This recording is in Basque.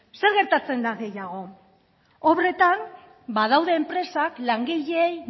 zer gertatzen da gehiago obretan badaude enpresak langileei